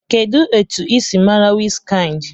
Kedu otu ị si mara Wizkind?